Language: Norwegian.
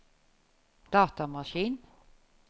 datamaskin